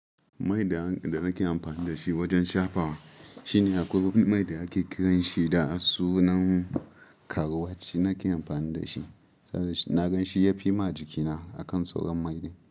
Mai da nake amfani da shi wajen shafawa shine akwai mai da ake kiranshi da sunan karwat, shi nake amfani da shi. Naga shi yafi ma jikina akan sauran mai din.